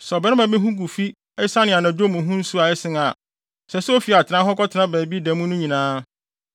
Sɛ ɔbarima bi ho gu fi esiane anadwo mu ho nsu a ɛsen a, ɛsɛ sɛ ofi atenae hɔ kɔtena baabi da mu no nyinaa.